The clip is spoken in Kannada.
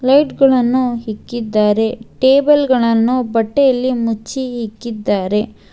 ವೆಟ್ ಗಳನ್ನು ಹಿಕ್ಕಿದ್ದಾರೆ ಟೇಬಲ್ ಗಳನ್ನು ಬಟ್ಟೆಯಲ್ಲಿ ಮುಚ್ಚಿ ಇಕ್ಕಿದ್ದಾರೆ.